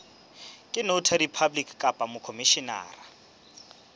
ke notary public kapa mokhomishenara